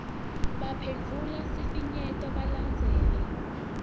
baphendvule sifinyeto balandzele